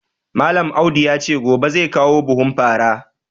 Malam Audu ya ce gobe zai kawo buhun fara